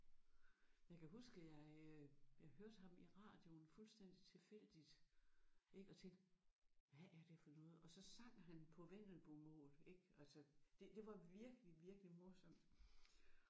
Jeg kan huske jeg øh jeg hørte ham i radioen fuldstændig tilfældigt ik og tænkte hvad er det for noget og så sang han på vendelbomål ik altså det det var virkelig virkelig morsomt